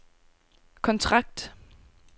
kontrakt